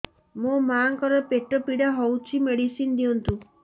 ମୋ ମାଆଙ୍କର ପେଟ ପୀଡା ହଉଛି ମେଡିସିନ ଦିଅନ୍ତୁ